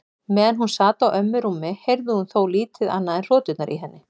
Meðan hún sat á ömmu rúmi heyrði hún þó lítið annað en hroturnar í henni.